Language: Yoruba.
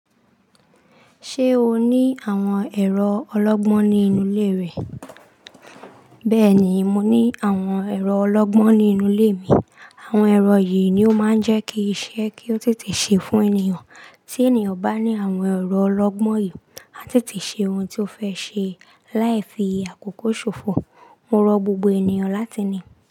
Ṣé o ní àwọn èrò ọlọ́gbọ́n ní inú ilé rẹ? Bẹ́ẹ̀ni, mo ní àwọn èrò ọlọ́gbọ́n nínú ilé mi. Àwọn èrò yìí ni ó máa ń jẹ́ kí iṣẹ́ kí ó tètè ṣe fún ènìyàn. Tí ènìyàn bá ní àwọn èrò ọlọ́gbọ́n yìí, a tètè ṣe ohun tí ó fẹ́ ṣe. Láì fi àkókò ṣòfò. Mo rọ gbogbo ènìyàn láti ní i.